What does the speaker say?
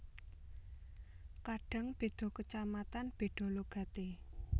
Kadang beda kacamatan beda logate